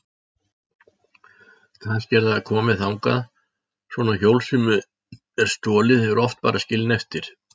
Kannski er það komið þangað, svona hjól sem er stolið eru oft bara skilin eftir.